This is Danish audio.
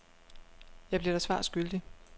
Jeg bliver dig svar skyldig.